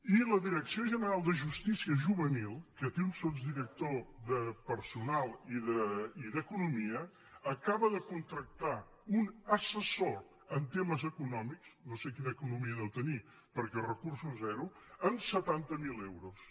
i la direcció general de justícia ju·venil que té un sotsdirector de personal i d’economia acaba de contractar un assessor en temes econòmics no sé quina economia deu tenir perquè recursos zero amb setanta miler euros